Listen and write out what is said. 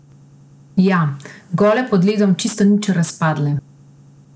Ja, gole pod ledom, čisto nič razpadle.